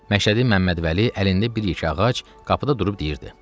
Məşədi Məmmədvəli əlində bir yekə ağac qapıda durub deyirdi: